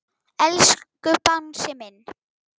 Elsku Bangsi minn.